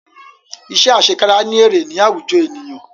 Iṣẹ́ àsekára ní èrè ní àwùjọ ènìyàn